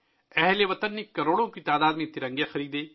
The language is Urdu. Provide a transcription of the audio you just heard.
ہم وطنوں نے کروڑوں میں ترنگے خریدے